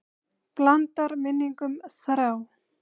Blandar minningum þrá.